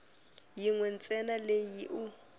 yin we ntsena leyi u